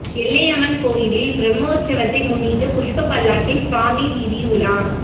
எல்லையம்மன் கோயிலில் பிரமோற்சவத்தை முன்னிட்டு புஷ்ப பல்லக்கில் சுவாமி வீதி உலா